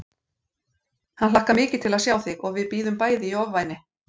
Hann hlakkar mikið til að sjá þig og við bíðum bæði í ofvæni